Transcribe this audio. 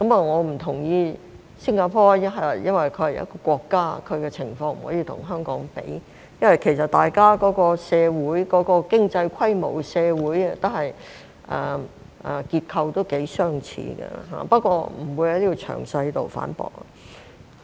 我不同意的是，新加坡是一個國家，其情況不能跟香港比較，即使大家的經濟規模、社會結構頗相似，但我不會在此作詳細的反駁。